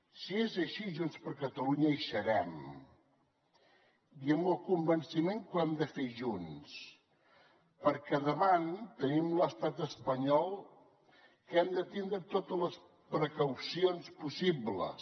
si és així junts per catalunya hi serem i amb el convenciment que ho hem de fer junts perquè davant tenim l’estat espanyol i hem de tindre totes les precaucions possibles